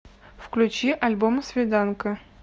включи альбом свиданка